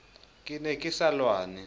ke ne ke sa lwane